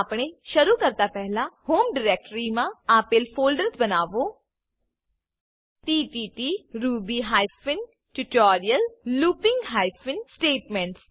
આપણે શરૂ કરતા પહેલા હોમ ડિરેક્ટરીમાં આપેલ ફોલ્ડર્સ બનાવો તત્ત Ruby hyphen tutorial looping hyphen statements